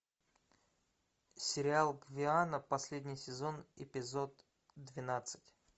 сериал гвиана последний сезон эпизод двенадцать